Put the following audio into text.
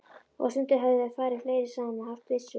Og stundum höfðu þeir farið fleiri saman og haft byssu.